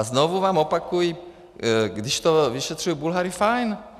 A znovu vám opakuji, když to vyšetřují Bulhaři, fajn.